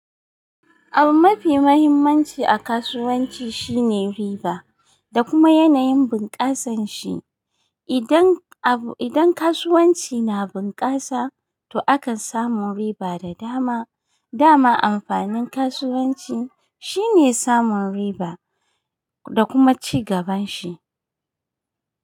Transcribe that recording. Abu mafi mahimmanci a kasuwanci shine riba da kuma yanayin bunƙasan shi. Idan abu, idan kasuwanci na bunƙasa to akan samu riba da dama. Dama amfanin kasuwanci shine samun riba da kuma ci gaban shi.